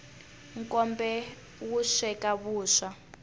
nkombe wu sweka vuswa